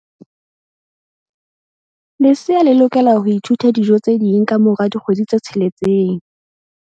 Lesea le lokela ho ithuta dijo tse ding ka mora dikgwedi tse tsheletseng.